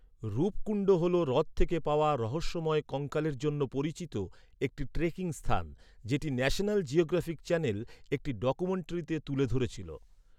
রূপকুণ্ড হল হ্রদ থেকে পাওয়া রহস্যময় কঙ্কালের জন্য পরিচিত একটি ট্রেকিং স্থান, যেটি ন্যাশনাল জিওগ্রাফিক চ্যানেল একটি ডকুমেণ্টারিতে তুলে ধরেছিল।